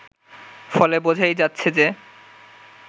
ফলে বোঝাই যাচ্ছে যে